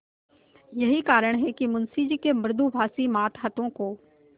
यही कारण है कि मुंशी जी के मृदुभाषी मातहतों को